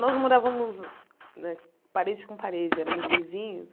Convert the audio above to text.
Nós morávamos né parede com parede, éramos vizinhos.